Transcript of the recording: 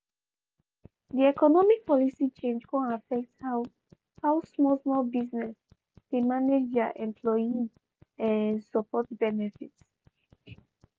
di economic policy chnag kon affect how how small small business dey manage their employee support benefits.